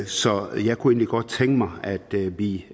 så jeg kunne egentlig godt tænke mig at vi